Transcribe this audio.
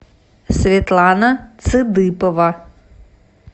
светлана цыдыпова